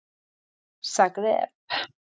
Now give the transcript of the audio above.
Zagreb